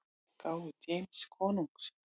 gáfu James konungs.